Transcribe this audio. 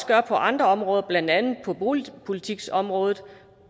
gør på andre områder blandt andet på boligpolitikområdet